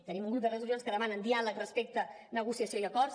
tenim un grup de resolucions que demanen diàleg respecte negociació i acords